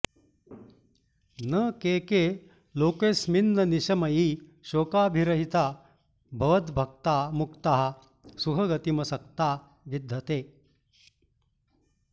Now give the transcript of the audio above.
न के के लोकेऽस्मिन्ननिशमयि शोकाभिरहिता भवद्भक्ता मुक्ताः सुखगतिमसक्ता विदधते